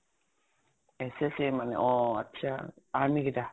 SSC মানে অ আত্চ্ছা, army কেইতা ?